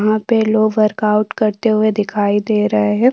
वहां पे लोग वर्कआउट करते हुए दिख रहे है।